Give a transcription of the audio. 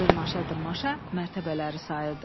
Dırmaşa-dırmaşa mərtəbələri sayırdı.